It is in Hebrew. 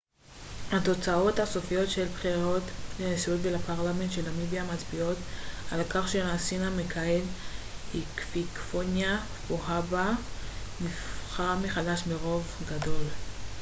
התוצאות הסופיות של הבחירות לנשיאות ולפרלמנט של נמיביה מצביעות על כך שהנשיא המכהן היפיקפוניה פוהאמבה נבחר מחדש ברוב גדול